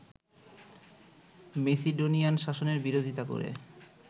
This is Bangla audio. মেসিডোনিয়ান শাসনের বিরোধিতা করে